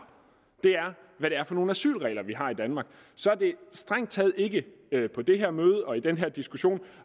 er hvad det er for nogle asylregler vi har i danmark så er det strengt taget ikke på det her møde eller i den her diskussion